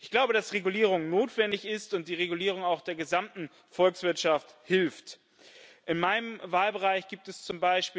Ich glaube, dass Regulierung notwendig ist und die Regulierung auch der gesamten Volkswirtschaft hilft. In meinem Wahlbereich gibt es z.